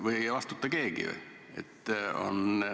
Või ei vastuta keegi?